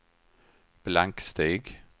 blanksteg